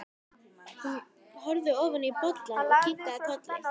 Hún horfði ofan í bollann og kinkaði kolli.